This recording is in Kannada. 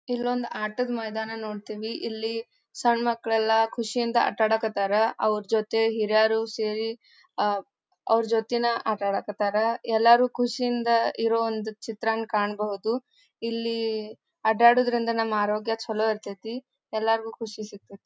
ಇಲ್ಲೊಂದು ಆಟದ ಮೈದಾನ ನೋಡ್ತೀವಿ ಇಲ್ಲಿ ಸಣ್ ಮಕ್ಕಳ್ಳೆಲ್ಲಾ ಖುಷಿಯಿಂದ ಆಟ ಆಡಕತ್ತರ ಅವ್ರ ಜೊತೆ ಹಿರಿಯರು ಸೇರಿ ಅಹ್ ಅವ್ರ ಜೋತಿನ ಆಟ ಆಡಕತ್ತರ ಎಲ್ಲಾರು ಖುಷಿಯಿಂದ ಇರೋಂದು ಚಿತ್ರಾನ್ ಕಾಣ್ಬಹುದು ಇಲ್ಲೀ ಅಡ್ಡಾಡೋದ್ರಿಂದ ನಮ್ಮ ಆರೋಗ್ಯ ಚಲೋ ಇರತ್ತತಿ ಎಲ್ಲಾರ್ಗೂ ಖುಷಿ ಸಿಕ್ತತ್.